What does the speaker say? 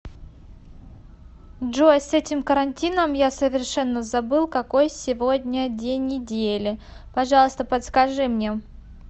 джой с этим карантином я совершенно забыл какой сегодня день недели пожалуйста подскажи мне